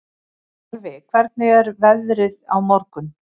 Jarfi, hvernig er veðrið á morgun?